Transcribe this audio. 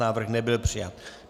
Návrh nebyl přijat.